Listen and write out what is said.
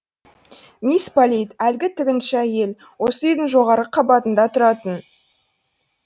мисс полит әлгі тігінші әйел осы үйдің жоғарғы қабатында тұратын